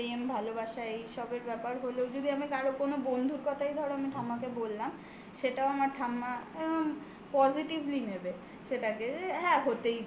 প্রেম ভালোবাসা এইসবের ব্যাপার হলেও যদি আমি কারো কোনো বন্ধুর কথাই ধরো আমি ঠাম্মাকে বললাম সেটাও আমার ঠাম্মা positively নেবে সেটাকে যে হ্যাঁ হতেই পারে।